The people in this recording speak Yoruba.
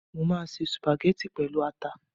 Mo máa se sùpàgẹ́tì pẹ̀lú ata